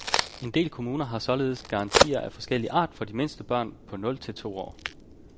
En del kommuner har således garantier af forskellig art for de mindste børn på nul til to år.